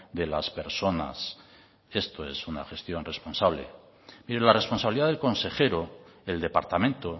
de las personas esto es una gestión responsable mire la responsabilidad del consejero el departamento